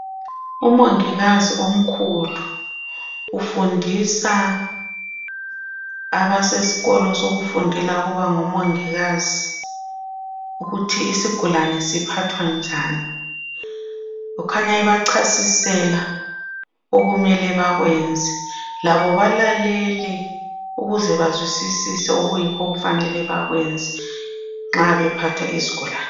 Umongikazi omkhulu ufundisa abasesikolo sokufundela ukuba ngomongikazi ukuthi isigulane siphathwa njani. Ukhanya ebachasisela okumele bakwenze. Labo balalele ukuze bazwisisise okuyikho okufanele bakwenze nxa bephatha izigulane.